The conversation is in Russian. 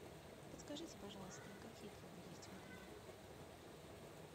подскажите пожалуйста какие клубы есть в отеле